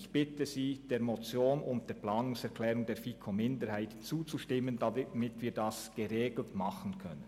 Ich bitte Sie deshalb, der Motion sowie der Planungserklärung der FiKo-Minderheit zuzustimmen, damit wir dies in geregelter Weise tun können.